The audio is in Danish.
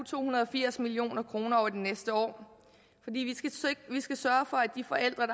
to hundrede og firs million kroner over de næste år fordi vi skal sørge for at de forældre